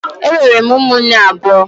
Enwere m ụmụnne abụọ